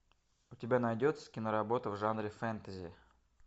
у тебя найдется киноработа в жанре фэнтези